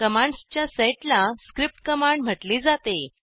commands च्या set ला script command म्हटले जाते